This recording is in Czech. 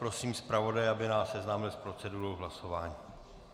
Prosím zpravodaje, aby nás seznámil s procedurou hlasování.